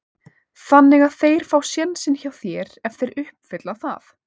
Þannig að þeir fá sénsinn hjá þér ef þeir uppfylla það?